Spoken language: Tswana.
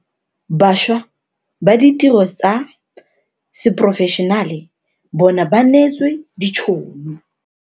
Bašwa ba ditiro tsa seporofešenale bona ba neetswe ditšhono.